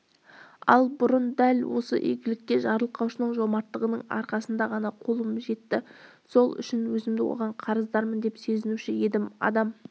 ал бұрын дәл осы игілікке жарылқаушының жомарттығының арқасында ғана қолым жетті сол үшін өзімді оған қарыздармын деп сезінуші едім адам